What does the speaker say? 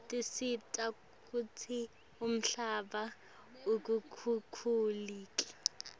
tisita kutsi umhlaba ungakhukhuleki